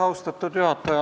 Austatud juhataja!